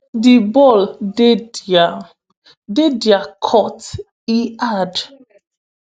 di ball dey dia dey dia court" e add.